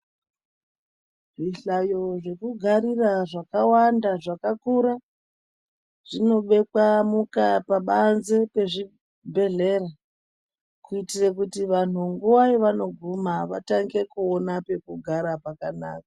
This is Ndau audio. Zvihlayo zvekugarira zvakawanda zvakakura zvinobekwa mukaa pabanze pezvibhedhlera kuitire kuti vantu panguva yavanoguma vatange kuona pekugara pakanaka.